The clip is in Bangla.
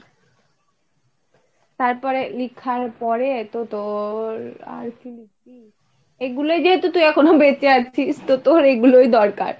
তারপরে লিখার পরে তো তোর, আর কি লিখবি এইগুলোই যেহেতু তুই এখনো বেঁচে আছিস তো তোর এগুলোই দরকার।